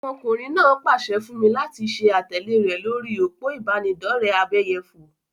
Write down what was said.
Ọmọkùnrin náà pase fún mi láti ṣe àtẹ̀lé rẹ lórí òpó ìbánidọ́rẹ̀ abẹ́yẹfò.